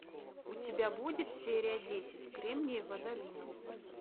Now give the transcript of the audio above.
у тебя будет серия десять кремниевая долина